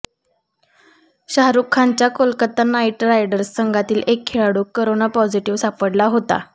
शाहरुख खानच्या Kolkata knight riders संघातील एक खेळाडू करोना पॉझिटीव्ह सापडला होता